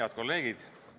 Head kolleegid!